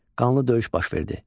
Qanlı döyüş baş verdi.